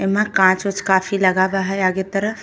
एमा काँच ओंच काफी लगावा है आगे तरफ।